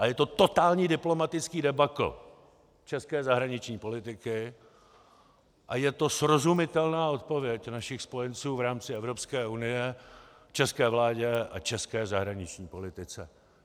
A je to totální diplomatický debakl české zahraniční politiky a je to srozumitelná odpověď našich spojenců v rámci Evropské unie české vládě a české zahraniční politice.